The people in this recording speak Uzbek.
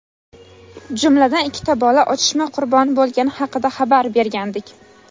jumladan ikkita bola otishma qurboni bo‘lgani haqida xabar bergandik.